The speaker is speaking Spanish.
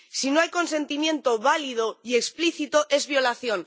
Si no hay consentimiento válido y explícito, es violación.